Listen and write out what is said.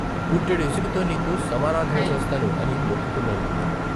పుట్టెడు ఇసుకతో నీకు సమారాధన చేస్తాను ' అని మొక్కుకున్నాను.